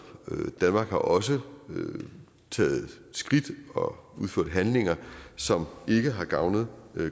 danmark har også taget skridt og udført handlinger som ikke har gavnet